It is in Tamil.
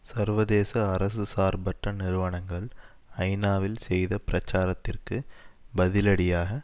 சர்வதேச அரசு சார்பற்ற நிறுவனங்கள் ஐநாவில் செய்த பிரச்சாரத்திற்கு பதிலடியாக